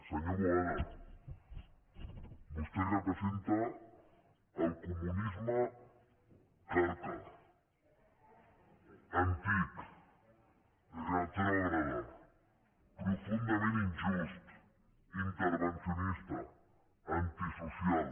senyor boada vostè representa el comunisme carca antic retrògrad profundament injust intervencionista antisocial